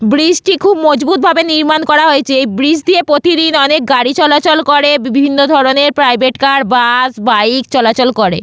Bridge -টি খুব মজবুতভাবে নির্মাণ করা হয়েছে এই ব্রিজ দিয়ে প্রতিদিন অনেক গাড়ি চলাচল করে বিভিন্ন ধরনের প্রাইভেট কার বাস বাইক চলাচল করে।